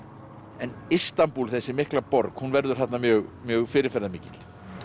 en Istanbúl þessi mikla borg hún verður þarna mjög mjög fyrirferðarmikil